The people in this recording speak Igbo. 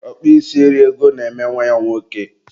ọkpụ isi eri ego na-eme nwa ya nwoke